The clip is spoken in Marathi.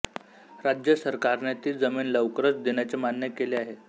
राज्य सरकारने ती जमिन लवकरच देण्याचे मान्य केले आहे